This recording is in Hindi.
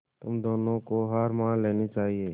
तुम दोनों को हार मान लेनी चाहियें